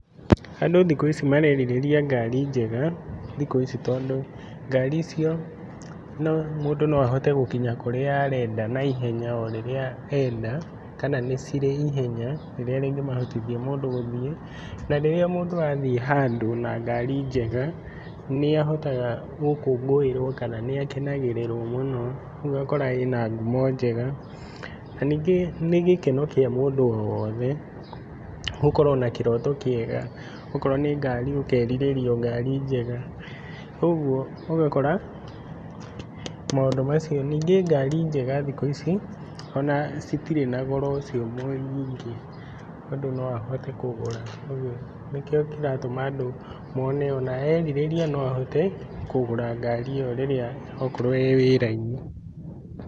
Andũ thikũ ici marerirĩria ngari njega, thikũ ici tondũ, ngari icio mũndũ no ahote gũkinya kũrĩa arenda na ihenya orĩrĩa enda, kana nĩcirĩ ihenya rĩrĩa rĩngĩ mahotithia mũndũ gũthiĩ. Na rĩrĩa mũndũ athiĩ handũ na ngari njega, nĩahotaga gũkũngũĩrwo kana nĩakenagĩrĩrwo mũno, rĩu ũgakora ĩna ngumo njega. Na nyingĩ nĩgĩkeno kĩa mũndũ o wothe gũkorwo, na kĩroto kĩega. Okorwo nĩ ngari ũkerirĩria ongari njega. ũguo ũgakora, maũndũ macio. Nyingĩ ngari njega thikũ ici ona citirĩ na goro ũcio mũingĩ, mũndũ no ahote kũgũra. ũguo nĩkĩo kĩratũma andũ mone ona erirĩria noahote, kũgũra ngari ĩo rĩrĩa okorwo, e wĩra-inĩ.